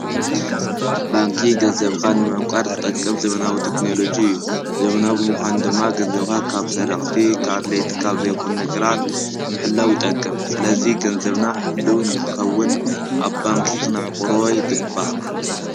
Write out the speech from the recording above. ባንኪ ገዘብኻ ምእቋድ ዝጠቅም ዘመናዊ ተክንሎጅ እዩ ዘምናብምዃን ድማ ገንዘብካ ካብ ሠረቕቲ ካድልይቲ ካብ ዘይኹን ነገራት እምሕላዊ ይጠቅም ስለዙ ገንዘብና ሕሉ ንኸውን ኣብ ባንኪ ኽነዕቑርወ ኣይግባእ